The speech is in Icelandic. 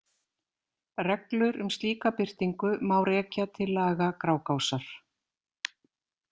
Reglur um slíka birtingu má rekja til laga Grágásar.